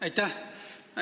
Aitäh!